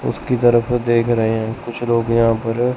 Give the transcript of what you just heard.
उसकी तरफ देख रहे हैं कुछ लोग यहां पर है।